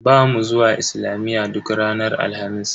Bamu zuwa islamiyya duk ranar Alhamis.